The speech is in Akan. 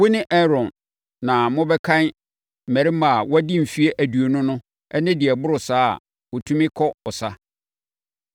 Wo ne Aaron na mobɛkan mmarima a wɔadi mfeɛ aduonu no ne deɛ ɛboro saa a wɔtumi kɔ ɔsa.